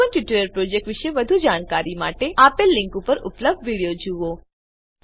spoken tutorial project વિશે વધુ જાણકારી માટે આપેલ લીંક પર ઉપલબ્ધ વિડીયો જુઓ